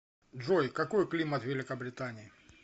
джой какой климат в великобритании